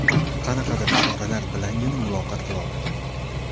Qanaqadir ishoralar bilangina muloqot qila oladi.